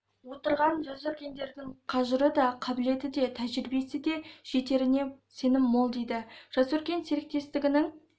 отырған жасөркендіктердің қажыры да қабілеті де тәжірибесі де жетеріне сенім мол дейді жас өркен серіктестігінің